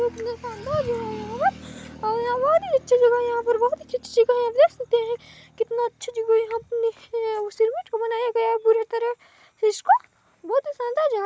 बहुत ही शानदार जगह है यहां पर और यहां बहुत ही अच्छी जगह है और यहां पर बहुत ही अच्छी अच्छी जगह है आप देख सकते हैं कितना अच्छी जगह है यहां पर सिरमेंट का बनाया गया पूरी तरह से इसको बहुत ही शानदार जगह हैं।